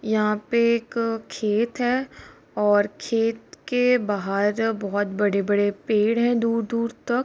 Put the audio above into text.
यहाँ पे एक खेत है और खेत के बाहर बहुत बड़े-बड़े पेड़ हैं दूर दूर तक।